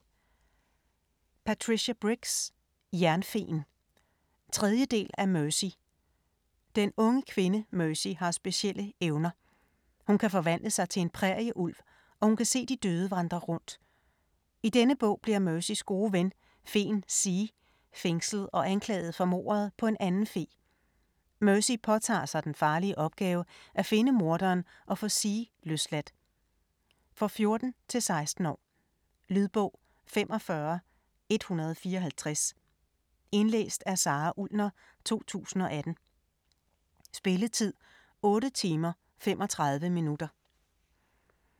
Briggs, Patricia: Jernfeen 3. del af Mercy. Den unge kvinde, Mercy har specielle evner. Hun kan forvandle sig til en prærieulv, og hun kan se de døde vandre rundt. I denne bog bliver Mercys gode ven, feen Zee fængslet og anklaget for mordet på en anden fe. Mercy påtager sig den farlige opgave at finde morderen og få Zee løsladt. For 14-16 år. Lydbog 45154 Indlæst af Sara Ullner, 2018. Spilletid: 8 timer, 35 minutter.